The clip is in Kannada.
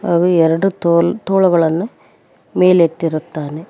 ಹಾಗೂ ಎರಡು ತೊಲು ತೋಳುಗಳನ್ನು ಮೇಲೆತ್ತಿರುತ್ತಾನೆ.